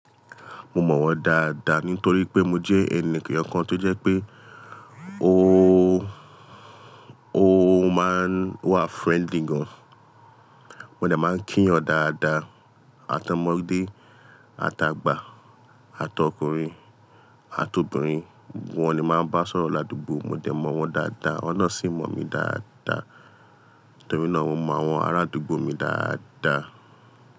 Mo mọ̀ wọ́n dáadáa nítorí pé mo jẹ́ ẹni èyan kan tó jẹ́ pé ó, ó máa ń wà friendly gan. Mo dẹ máa ń kí yọn dáadáa, àtọ ọmọdé, àti àgbà, àtà ọkùnrin, àtà obìnrin, wọ́n ni máa ń bá sọ̀rọ̀ ládùúgbò. Mo dẹ mọ̀ wọ́n dáadáa, awọ́n náà sì mọ̀ mi dáadáa. Nítorí náà mo mọ àwọn arádùúgbò mi dáadáa.